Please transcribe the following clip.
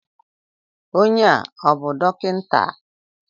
Onye a ọ bú dọkịta?